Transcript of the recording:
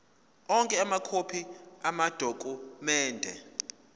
onke amakhophi amadokhumende